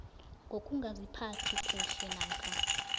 ngokungaziphathi kuhle namkha